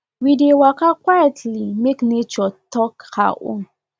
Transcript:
we dey waka quietly make nature talk her own